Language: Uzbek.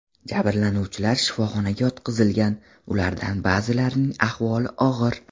Jabrlanuvchilar shifoxonaga yotqizilgan, ulardan ba’zilarining ahvoli og‘ir.